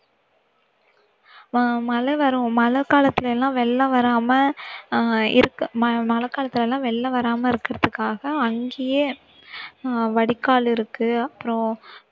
அஹ் மழை வரும் மழைக்காலத்தில எல்லாம் வெள்ளம் வராம அஹ் இருக்க ம~ மழைக்காலத்துல எல்லாம் வெள்ளம் வராம இருக்குறதுக்காக அங்கேயே அஹ் வடிகால் இருக்கு அப்புறம்